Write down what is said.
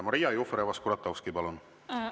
Maria Jufereva‑Skuratovski, palun!